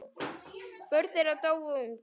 Börn þeirra dóu ung.